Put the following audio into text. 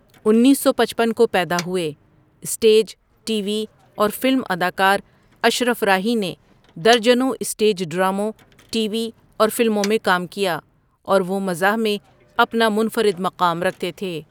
انیس سو پچپن کو پیدا ہوئے، اسٹیج، ٹی وی اور فلم اداکار اشرف راہی نے درجنوں اسٹیج ڈراموں، ٹی وی اور فلموٕں میں کام کیا اور وہ مزاح میں اپنا منفرد مقام رکھتے تھے.